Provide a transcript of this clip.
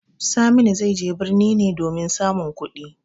Saminu zai je birni ne domin samun kuɗi.